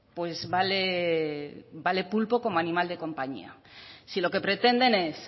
pues vale pulpo como animal de compañía si lo que pretenden es